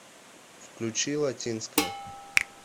включи латинская